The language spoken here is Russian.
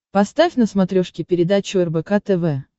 поставь на смотрешке передачу рбк тв